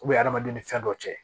adamadenw ni fɛn dɔ cɛ